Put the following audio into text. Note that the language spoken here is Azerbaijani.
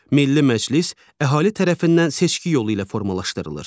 Milli Məclis əhali tərəfindən seçki yolu ilə formalaşdırılır.